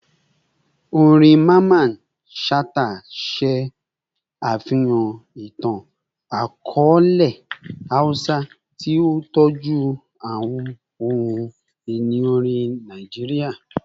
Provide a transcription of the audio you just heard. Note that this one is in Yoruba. Orin Mamman Shata ṣe afihan itan-akọọlẹ Hausa, ti o tọju awọn ohun-ini orin Naijiria